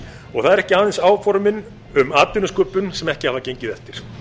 og það eru ekki aðeins áformin um atvinnusköpun sem ekki hafa gengið eftir